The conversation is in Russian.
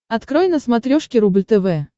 открой на смотрешке рубль тв